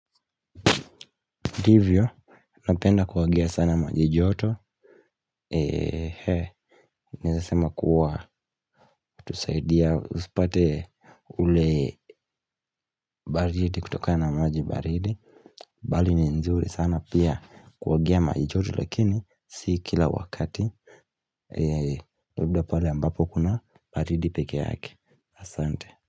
Ndivyo, napenda kuogea sana maji joto, eeh, naweza sema kuwa kutusaidia usipate ule baridi kutokana na maji baridi. Bali ni nzuri sana pia kuogea maji joto lakini si kila wakati. Labda pale ambapo kuna baridi peke yake. Asante.